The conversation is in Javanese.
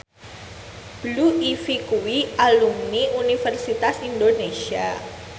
Blue Ivy kuwi alumni Universitas Indonesia